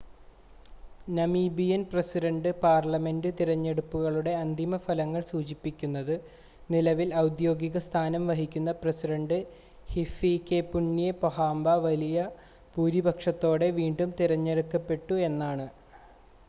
Namibian president parliament തിരഞ്ഞെടുപ്പുകളുടെ അന്തിമ ഫലങ്ങൾ സൂചിപ്പിക്കുന്നത് നിലവിൽ ഔദ്യോഗിക സ്ഥാനം വഹിക്കുന്ന പ്രസിഡണ്ട് ഹിഫികെപുന്യെ പൊഹാംബ വലിയ ഭൂരിപക്ഷത്തോടെ വീണ്ടും തിരഞ്ഞെടുക്കപ്പെട്ടു എന്നാണ്